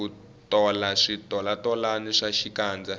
ku tola switolatolani swa xikandza